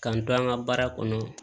K'an to an ka baara kɔnɔ